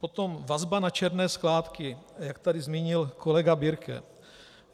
Potom vazba na černé skládky, jak tady zmínil kolega Birke.